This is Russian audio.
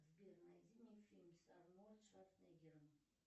сбер найди мне фильм с арнольдом шварцнеггером